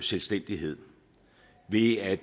selvstændighed ved at